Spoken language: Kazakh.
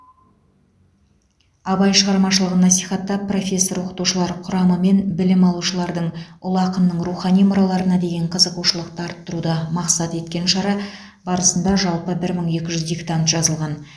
абай шығармашылығын насихаттап профессор оқытушылар құрамы мен білім алушылардың ұлы ақынның рухани мұраларына деген қызығушылықты арттыруды мақсат еткен шара барысында жалпы бір мың екі жүз диктант жазылған